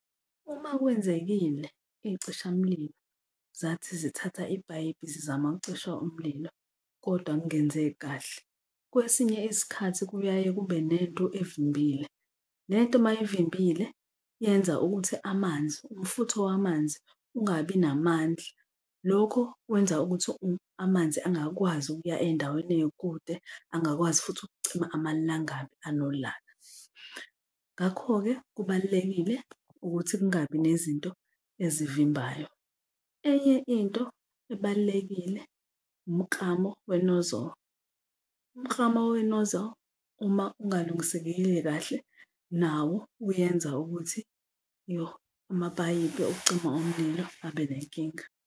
Uma kwenzekile iy'cishamlilo zathi zithatha ipayipi zizama ukucisha umlilo, kodwa kungenzeki kahle, kwesinye isikhathi kuyaye kube nento evimbile. Lento uma ivimbile yenza ukuthi amanzi, umfutho wamanzi ungabi namandla, lokho kwenza ukuthi amanzi angakwazi ukuya ey'ndaweni ey'kude, angakwazi futhi ukucima amalangabi anolaka. Ngakho-ke kubalulekile ukuthi kungabi nezinto ezivimbayo. Enye into ebalulekile umklamo we-nozzle, umklamo we-nozzle uma ungalungisekekile kahle nawo uyenza ukuthi, iyo amapayipi okucima omlilo abenenkinga.